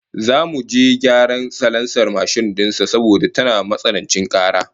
Zamu je gyaran salansar mashin din sa saboda tana matsanancin kara